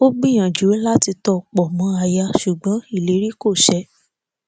ó gbìyànjú láti tọ pọ mọ aya ṣùgbọn ìlérí kò ṣẹ